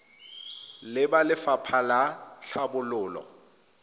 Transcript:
le ba lefapha la tlhabololo